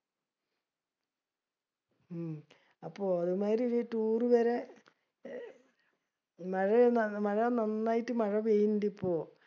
ഹും അപ്പൊ ഒരുമാതിരി ഈ tour വരെ ഏർ മഴേ മഴ നന്നായിട്ട് മഴ പെയിണ്ട് ഇപ്പൊ.